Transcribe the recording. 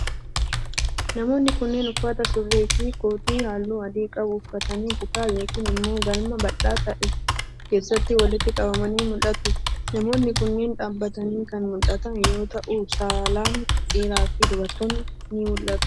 Namoonni kunneen, uffata surree fi kootii haalluu adii qabu uffatanii kutaa yokin immoo galma bal'aa ta'e keessatti walitti qabamanii mul'atu. Namoonni kunneen, dhaabbatanii kan mul'atan yoo ta'u, saalan dhiiraa fi dubartoonnis ni mul'atu.